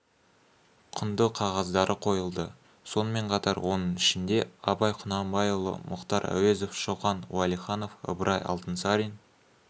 құнды қағаздары қойылды сонымен қатар оның ішінде абай құнанбайұлы мұхтар әуезов шоқан уәлиханов ыбырай алтынсарин